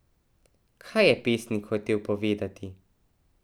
Kaj je pesnik hotel povedati?